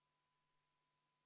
V a h e a e g